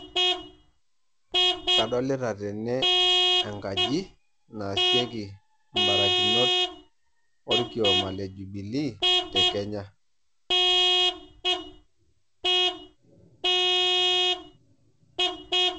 Adolita tene enkaji naasieki imbarakinot olkioma le jubilee te Kenya.